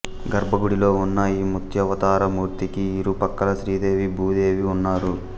గర్భగుడిలో ఉన్న ఈ మత్స్యావతారమూర్తికి ఇరు ప్రక్కల శ్రీదేవి భూదేవి ఉన్నారు